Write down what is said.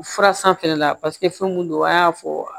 Fura sanfɛla la fɛn mun don a y'a fɔ